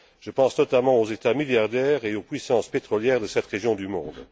Je pense notamment aux États milliardaires et aux puissances pétrolières de cette région du monde.